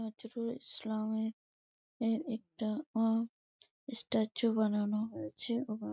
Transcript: নজরুল ইসলামের - এর একটা আ স্ট্যাচু বানানো হয়েছে--